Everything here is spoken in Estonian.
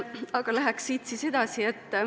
Aga läheks siit siis edasi.